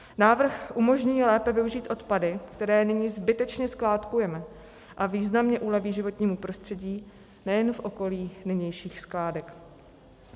Návrh umožní lépe využít odpady, které nyní zbytečně skládkujeme, a významně uleví životnímu prostředí nejen v okolí nynějších skládek.